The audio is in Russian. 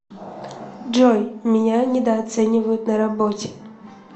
джой меня недооценивают на работе